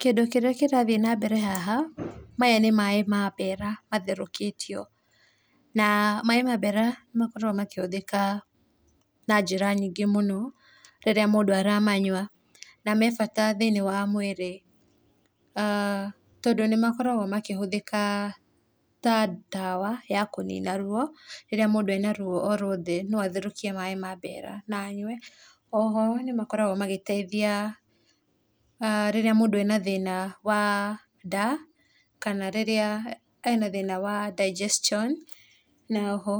Kĩndũ kĩrĩa kĩrathiĩ na mbere haha, maya nĩ maĩ ma mbera matherũkĩtio na maĩ ma mbera nĩ makoragwo makĩhũthĩka na njĩra nyingĩ mũno rĩrĩa mũndũ aramanyua na me bata thiĩniĩ wa mwĩrĩ tondũ nĩmakoragwo makĩhũthĩka ta ndawa ya kũnina ruo rĩrĩa mũndũ ena ruo o ruothe no atherũkie maĩ ma mbera na anyue. O ho, nĩmakoragwo magĩteithia rĩrĩa mũndũ ena thĩna wa nda kana rĩrĩa ena thĩna wa digestion na oho